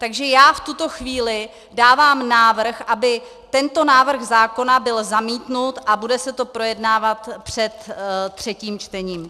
Takže já v tuto chvíli dávám návrh, aby tento návrh zákona byl zamítnut, a bude se to projednávat před třetím čtením.